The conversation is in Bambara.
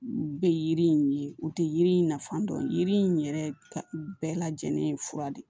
U bɛ yiri in ye u tɛ yiri in nafa dɔn yiri in yɛrɛ bɛɛ lajɛlen ye fura de